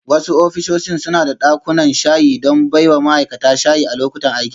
Wasu ofisoshin suna da dakunan shayi don baiwa ma'aikata shayi a lokutan aiki.